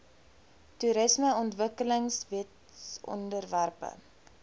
toerismeontwikkelingwetsontwerpe